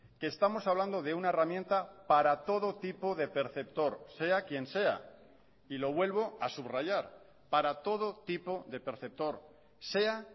que estamos hablando de una herramienta para todo tipo de perceptor sea quien sea y lo vuelvo a subrayar para todo tipo de perceptor sea